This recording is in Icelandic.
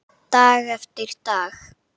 Dag eftir dag.